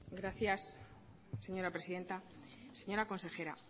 gracias señora presidenta señora consejera